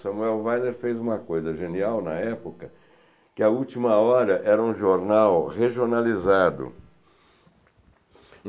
Samuel Weiner fez uma coisa genial na época, que a Última Hora era um jornal regionalizado.